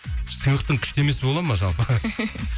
сыйлықтың күшті емесі бола ма жалпы